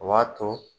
O b'a to